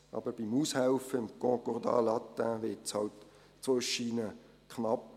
Aber beim Aushelfen im Concordat latin wird es halt zwischendurch knapp.